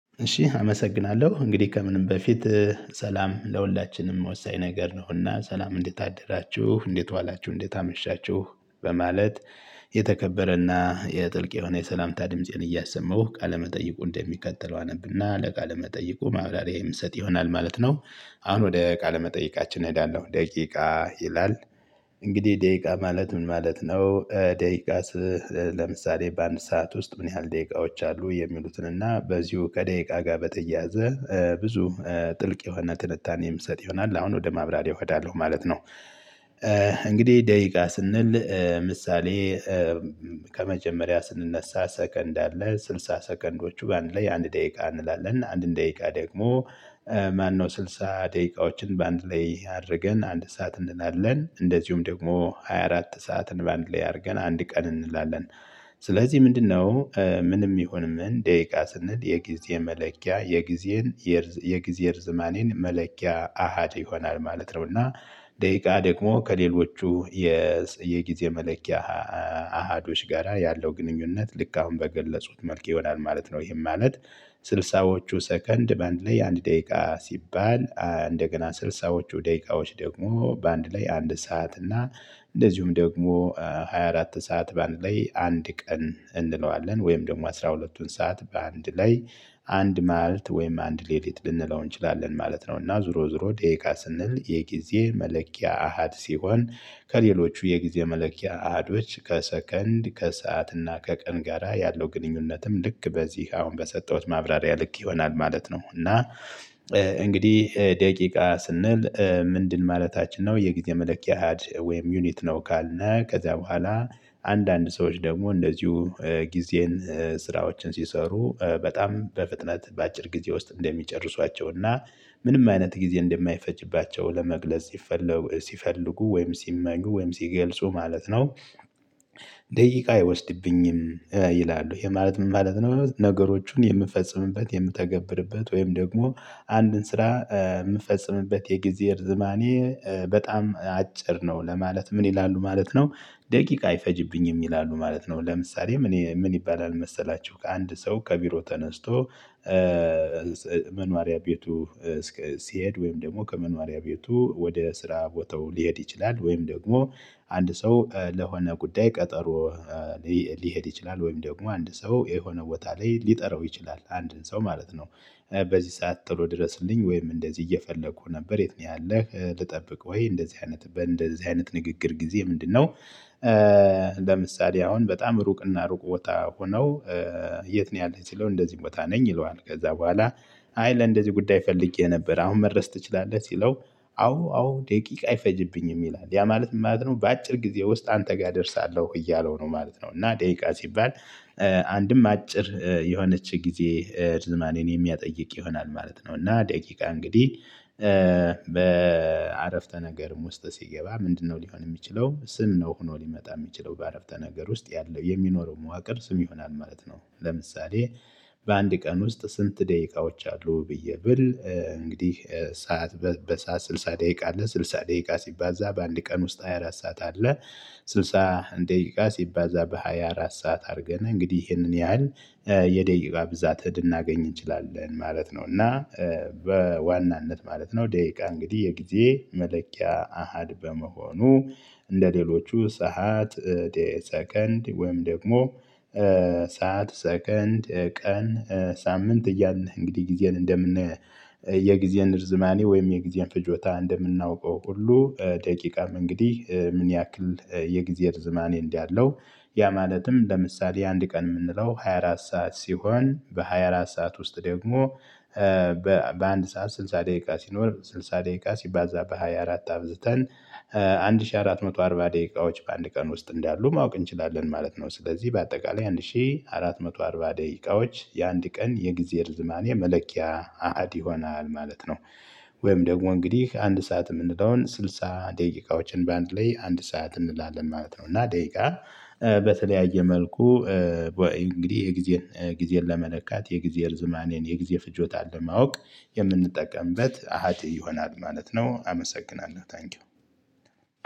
እሺ አመሰግናለሁ እንግዲህ ከምንም በፊት ሰላም ለሁላችንም ወሳኝ ነገር ነውና ሰላም እንዴት አደራችሁ እንዴት ዋላችሁ እንዴት አመሻችሁ በማለት የተከበረና የጥልቅ የሆነ የሰላምታ ድምፄን እያሱማሁ ቃለመጠይቁን እንደሚቀጥለው አነብና ለቃለመጠይቁ ማብራሪያ የምሰጥ ይሆናል ማለት ነው። አሁን ወደ ቃለ መጠይቃችን እሄዳለሁ ደቂቃ ይላል። እንግዲህ ደቂቃ ማለት ምን ማለት ነው? ደቂቃ ለምሳሌ በአንድ ሰዓት ውስጥ ምን ያህል ደቂቃዎች አሉ? የሚሉትን እና በዚሁ ከደቂቃ ጋር በተያያዘ ብዙ ጥልቅ የሆነ ትንታኔ የምይሰጥ ይሆናል አሁን ወደ ማብራሪያ እሄዳለሁ ማለት ነው። እንግዲህ ደቂቃ ስንል ምሳሌ። ከመጀመሪያ ስንነሳ ሰከንድ አለ ስልሳ ሰከንዶቹ ባንድ ላይ አንድ ደቂቃ እንላለን አንድ ደቂቃ ደግሞ። ማነው ስልሳ ደቂቃዎችን በአንድ ላይ አድርገን አንድ ሰዓት እንላለን እንደዚሁም ደግሞ ሃያ አራት ሰዓትን በአንድ ላይ አድርገን አንድ ቀን እንላለን። ስለዚህ ምንድነው? ምንም ይሁን ምን ደቂቃ ስንል የጊዜ መለኪያ የጊዜን የጊዜ የርዝማኔን መለኪያ አሃድ ይሆናል ማለት ነው። እና ደቂቃ ደግሞ ከሌሎቹ የጊዜ መለኪያ አሃዶች ጋራ ያለው ግንኙነት ልክ አሁን በገለጹት መልክ ይሆናል ማለት ነው። ይሄን ማለት ስልሳዎቹ ሰከንድ በአንድ ላይ አንድ ደቂቃ ሲባል እንደገና ስልሳዎቹ ደቂቃዎች ደግሞ በአንድ ላይ አንድ ሰዓት እና እንደዚሁም ደግሞ ሃያ አራት ሰዓት በአንድ ላይ አንድ ቀን እንለዋለን ወይም ደግሞ አስራ ሁለትቱን ሰዓት በአንድ ላይ አንድ ማልት ወይም አንድ ሌሊት ልንለው እንችላለን ማለት ነው። እና ዙሮ ዙሮ ደቂቃ ስንል የጊዜ መለኪያ አሃድ ሲሆን ከሌሎቹ የጊዜ መለኪያ አሀዶች ከሰከንድ ከሰአት እና ከቀን ጋራ ያለው ግንኙነትም ልክ በዚህ አሁን በሰጠሁት ማብራሪያ ልክ ይሆናል ማለት ነው። እና እንግዲህ ደቂቃ ስንል ምንድን ማለታችን ነው የጊዜ መለኪያ አሀድ ወይም ዩኒት ነው። ካልነ ከዛ በኋላ አንዳንድ ሰዎች ደግሞ እንደዚሁ ጊዜን ስራዎችን ሲሰሩ በጣም በፍጥነት በአጭር ጊዜ ውስጥ እንደሚጨርሷቸውና ምንም አይነት ጊዜ እንደማይፈጅባቸው ለመግለጽ ሲፈልጉ ሲፈልጉ ወይም ሲመኙ ወይም ሲገልጹ ማለት ነው። ደቂቃ አይወስድብኝም ይላሉ ይሄ ማለት ምን ማለት ነው? ነገሮችን የምንፈጽምበት የምተገብርበት ወይም ደግሞ አንድን ስራ የምፈጽምበት የጊዜ እርዝማኔ በጣም አጭር ነው ለማለት ምን ይላሉ ማለት ነው? ደቂቃ አይፈጅብኝም ይላሉ ማለት ነው። ለምሳሌ ምን ምን ይባላል መሰላችሁ? ከአንድ ሰው ከቢሮ ተነስቶ መኗሪያ ቤቱ ሲሄድ ወይም ደግሞ ከመኖሪያ ቤቱ ወደ ስራ ቦታው ሊሄድ ይችላል ወይም ደግሞ አንድ ሰው ለሆነ ጉዳይ ቀጠሮ ሊሄድ ይችላል ወይም ደግሞ አንድ ሰው የሆነ ቦታ ላይ ሊጠራው ይችላል አንድን ሰው ማለት ነው። በዚህ ሰዓት ተሎ ድረስልኝ ወይም እንደዚህ እየፈለኩ ነበር የት ነው ያለህ? ልጠብቅ ወይ እንደዚህ አይነት እንደዚህ አይነት ንግግር ጊዜ ምንድነው? ለምሳሌ አሁን በጣም ሩቅና ሩቅ ቦታ ሆነው የት ነው ያለህ ሲለው እንደዚህ ቦታ ነኝ ይለዋል። ከዛ በኋላ አይ ለእንደዚህ ጉዳይ ፈልጌ ነበር አሁን መድረስ ትችላለህ። ሲለው አዎ አዎ ደቂቃ አይፈጅብኝም ይላል ያ ማለት ምን ማለት ነው በአጭር ጊዜ ውስጥ አንተ ጋር እደርሳለሁ እያለው ነው ማለት ነው። እና ደቂቃ ሲባል አንድም አጭር የሆነች ጊዜ ርዝማኔን የሚያጠይቅ ይሆናል ማለት ነው። እና ደቂቃ እንግዲህ በአረፍተ ነገርም ውስጥ ሲገባ ምንድነው ሊሆን የሚችለው? ስም ነው ሆኖ ሊመጣ የሚችለው በአረፍተ ነገር ውስጥ ያለው የሚኖረው መዋቅር ስም ይሆናል ማለት ነው። ለምሳሌ በአንድ ቀን ውስጥ ስንት ደቂቃዎች አሉ? ብዬ ብል እንግዲህ ሰዓት በሰአት ስልሳ ደቂቃ አለ ስልሳ ደቂቃ ሲባዛ በአንድ ቀን ውስጥ ሃያ አራት ሰዓት አለ። ስድሳ ደቂቃ ሲባዛ በሃያ አራት ሰዓት አድርገን እንግዲህ ይሄንን ያህል የደቂቃ ብዛት እድናገኝ እንችላለን ማለት ነው። እና በዋናነት ማለት ነው ደቂቃ እንግዲህ የጊዜ መለኪያ አሃድ በመሆኑ። እንደሌሎቹ ሰዓት ሰከንድ ወይም ደግሞ ሰዓት ሰከንድ ቀን ሳምንት እያልን እንግዲህ ጊዜን እንደምን የጊዜን እርዝማኔ ወይም የጊዜን ፍጆታ እንደምናውቀው ሁሉ። ደቂቃም እንግዲህ ምን ያክል የጊዜ ርዘማኔ እንዳለው ያ ማለትም ለምሳሌ አንድ ቀን የምንለው ሃያ አራት ሰዓት ሲሆን በሃያ አራት ሰዓት ውስጥ ደግሞ በአንድ ሰዓት ስልሳ ደቂቃ ሲኖር ስልሳ ደቂቃ ሲባዛ በሃያ አራት አብዝተን አንድ ሺህ አራት መቶ አርባ ደቂቃዎች በአንድ ቀን ውስጥ እንዳሉ ማወቅ እንችላለን። ማለት ነው ስለዚህ በአጠቃላይ አንድ ሺህ አራት መቶ አርባ ደቂቃዎች የአንድ ቀን የጊዜ ልዝማኔ መለኪያ አሃድ ይሆናል ማለት ነው። ወይም ደግሞ እንግዲህ አንድ ሰዓት የምንለውን ስልሳ ደቂቃዎችን በአንድ ላይ አንድ ሰዓት እንላለን ማለት ነው። እና ደቂቃ በተለያየ መልኩ እንግዲህ የጊዜን ጊዜን ለመለካት የጊዜ ርዝማኔን የጊዜ ፍጆታ ለማወቅ የምንጠቀምበት አሃቴ ይሆናል ማለት ነው። አመሰግናለሁ ታንኪው።